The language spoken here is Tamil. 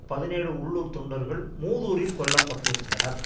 பதினேழு உள்ளூர் தொண்டர்கள் மூதூரில் கொல்ல பட்டிருந்தனர்